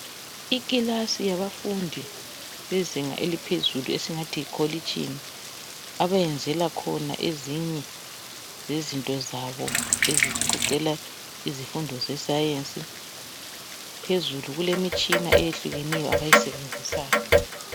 ikilasi yabafundi bezinga eliphezulu esingathi likolitshini abenzela khona ezinye zezinto zabo ezigoqelwa izifundo se sience phezulu kulemitshina abayisebenzisayo